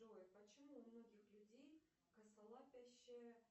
джой почему у многих людей косолапящая